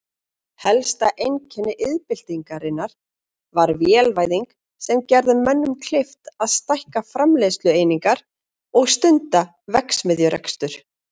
Helsta einkenni iðnbyltingarinnar var vélvæðing sem gerði mönnum kleift að stækka framleiðslueiningar og stunda verksmiðjurekstur.